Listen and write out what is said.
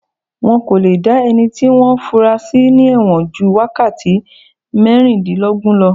Wọ́n kò le dá ẹni tí wọ́n fúnra sí ní ẹ̀wọ̀n ju wákàtí mẹ́rìndínlógún lọ